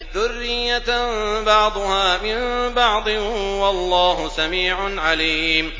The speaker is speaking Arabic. ذُرِّيَّةً بَعْضُهَا مِن بَعْضٍ ۗ وَاللَّهُ سَمِيعٌ عَلِيمٌ